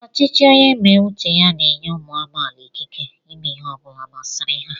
ọchịchị onye mé uche ya n'enyé umu amaala ikike ímé ihe ọbula masịrị ha